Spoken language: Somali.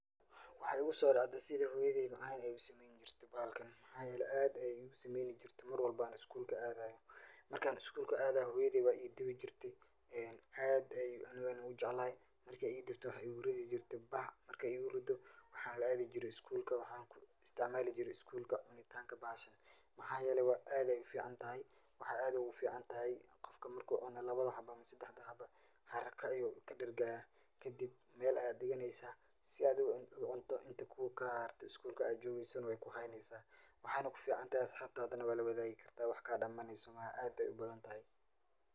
Waxa iguso dhaxde sidii hooyadey macaan ay igu sameeyn jirte bahalkan maxa yele aad ayay igu sameeyn jirte Mar walbo an isgulka aaday, markan isgulka aaday hooyadey way idubi jirte aad an anigana ujeclay markay idubto waxay igu ridi jirtay bac markay igu rido waxan la aadi jire isgulka wan isticmaali jire isgulka cunitanka bahashan maxa yele aad ay uficantahy, maxan aad ogu ficantahay qofka marku cuno labado xaba ama sedexdo xaba harak ayu kadhergaya kadib Mel ayad dhiganeysa si ad ucunto inta kaa harte intii isgulka ad jogeysona wayku hayneysa, waxayna kuficantahay asxabtana wad lawadageysa kama dhamaneyso aad ayay ubadan tahay